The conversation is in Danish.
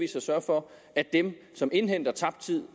kan sørge for at dem som indhenter tabt tid